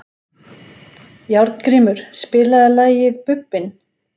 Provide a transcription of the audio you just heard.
Járngrímur, spilaðu lagið „Bubbinn“.